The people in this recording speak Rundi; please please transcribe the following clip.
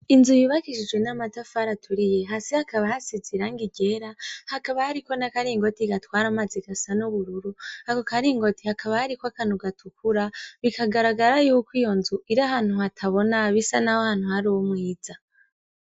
Inzu yubakishijwe n'amatafari aturiye hasi hakaba hasize irangi ryera hakaba hariko n'akaringoti gatwara amazi gasa n'ubururu ako karingoti hakaba hariko akantu gatukura bikagaragara yuko iyo nzu iri ahantu hatabona bisa nkaho hari umwiza.